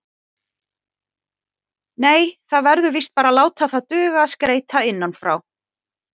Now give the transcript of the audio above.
Nei, það verður víst bara að láta það duga að skreyta innan frá.